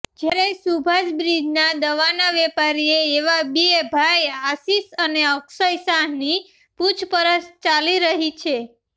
જ્યારે સુભાષબ્રિજના દવાના વેપારીએ એવા બે ભાઈ આશિષ અને અક્ષય શાહની પૂછપરછ ચાલી રહી છે